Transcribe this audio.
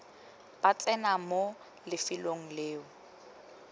ba tsena mo lefelong leo